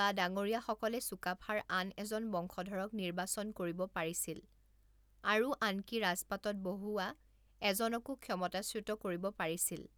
বা ডাঙৰিয়াসকলে চুকাফাৰ আন এজন বংশধৰক নিৰ্বাচন কৰিব পাৰিছিল আৰু আনকি ৰাজপাটত বহুওৱা এজনকো ক্ষমতাচ্যুত কৰিব পাৰিছিল।